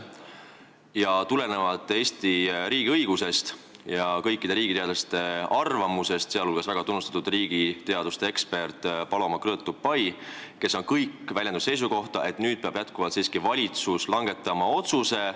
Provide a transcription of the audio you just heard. Tulenevalt Eesti riigiõigusest ja kõikide riigiteadlaste arvamusest – seda seisukohta on väljendanud ka tunnustatud riigiteaduste ekspert Paloma Krõõt Tupay – peab valitsus nüüd siiski langetama otsuse, kas Eesti ühineb selle ränderaamistikuga või mitte.